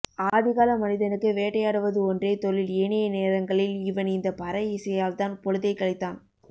ஆதிகால மனிதனுக்கு வேட்டையாடுவது ஒன்றே தொழில் ஏனைய நேரங்களில் அவன் இந்த பறை இசையால் தான் பொழுதை கழித்தான்